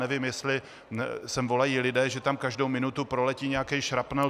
Nevím, jestli sem volají lidé, že tam každou minutu proletí nějaký šrapnel.